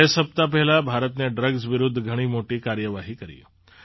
બે સપ્તાહ પહેલાં ભારતે ડ્રગ્સ વિરુદ્ધ ઘણી મોટી કાર્યવાહી કરી